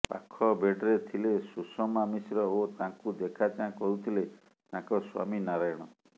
ପାଖ ବେଡ୍ରେ ଥିଲେ ସୁଷମା ମିଶ୍ର ଓ ତାଙ୍କୁ ଦେଖା ଚାଁ କରୁଥିଲେ ତାଙ୍କ ସ୍ୱାମୀ ନାରାୟଣ